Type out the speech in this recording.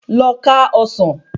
Lọ ká ọsán